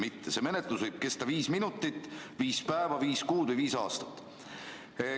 See menetlus võib kesta viis minutit, viis päeva, viis kuud või viis aastat.